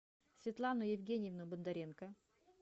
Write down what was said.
светлану евгеньевну бондаренко